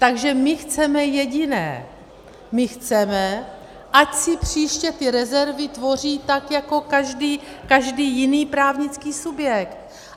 Takže my chceme jediné - my chceme, ať si příště ty rezervy tvoří tak jako každý jiný právnický subjekt.